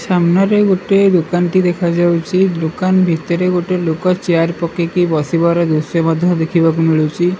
ସାମ୍ନାରେ ଗୋଟେ ଦୋକାନ୍ ଟି ଦେଖାଯାଉଛି ଦୋକାନ ଭିତରେ ଗୋଟେ ଲୋକ ଚେୟାର ପକେଇକି ବସିବାର ଦୃଶ୍ୟ ମଧ୍ୟ ଦେଖିବାକୁ ମିଳୁଛି।